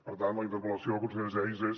per tant la interpel·lació a la consellera geis és